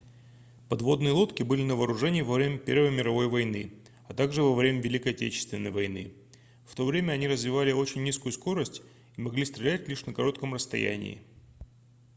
подводные лодки были на вооружении во время первой мировой войны а также во время великой отечественной войны в то время они развивали очень низкую скорость и могли стрелять лишь на коротком расстоянии